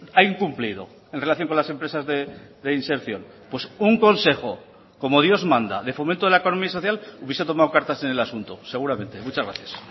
ha incumplido en relación con las empresas de inserción pues un consejo como dios manda de fomento de la economía social hubiese tomado cartas en el asunto seguramente muchas gracias